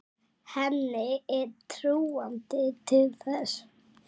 Henni er trúandi til þess.